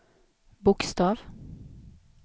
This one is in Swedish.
bokstav